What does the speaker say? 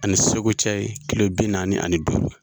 Ani Segu cɛ ye kilo bi naani ani duuru